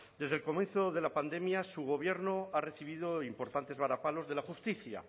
desde el comienzo de la pandemia su gobierno ha recibido importantes varapalos de la justicia